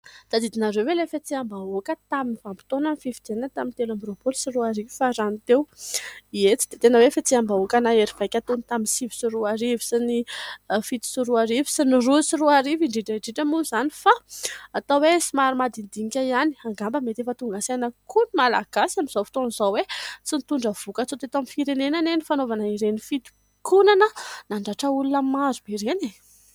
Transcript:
Tadidinareo ve ilay fihetseham-bahoaka tamin'ny vanimpotoanan'ny fifidianana tamin'ny telo amby roapolo sy roa arivo farany teo ? Eny ! tsy dia tena hoe fihetseham-bahoaka nahery vaika toy ny tamin'ny sivy sy roa arivo sy ny fito sy roa arivo sy ny roa sy roa arivo indrindra indrindra moa izany fa atao hoe somary madinidinika ihany. Angamba mety efa tonga saina koa ny Malagasy amin'izao fotoana izao hoe sy nitondra vokatsoa teto amin'ny firenena anie ny fanaovana ireny fitokonana nandratra olona maro be ireny e !